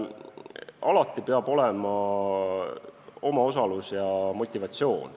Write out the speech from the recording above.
Alati peab olema omaosalus ja motivatsioon.